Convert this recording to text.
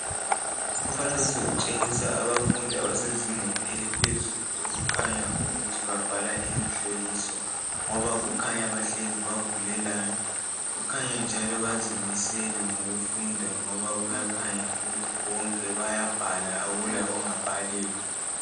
Umfanekiso utshengisa abafundi abasezingeni eliphezulu okukhanya ukuthi babhala imihloliso, ngoba kukhanya bahlezi bavulelana kukhanya njalo bazimisele ngokufunda ngoba kuyakhanya ukuthi bonke bayabhala akula ongabhaliyo.